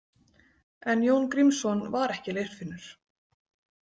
En Jón Grímsson var ekki Leirfinnur.